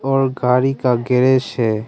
और गाड़ी का गेरेश है।